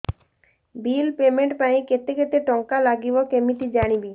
bill payment ପାଇଁ କେତେ କେତେ ଟଙ୍କା ଲାଗିବ କେମିତି ଜାଣିବି